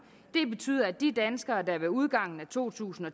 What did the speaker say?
det betyder at de danskere der ved udgangen af to tusind og